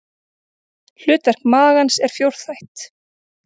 Hlutverk magans er fjórþætt.